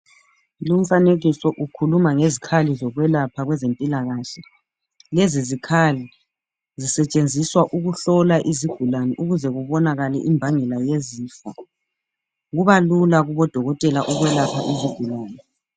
Lumfanekiso ukhuluma ngezikhali zokwelapha kwezempilakahle, lezi zikhali ezisetshenziswa ukuhlola izigulane ukuze kubonakale imbangela yezifo kuba lula kubodokotela ukwelapha izigulane.